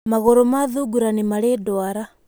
Magũrũ ma thungura nĩ marĩ ndwara.